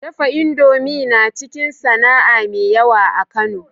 Dafa indomie naciki sAna'a me yawa a kano